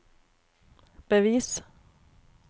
bevis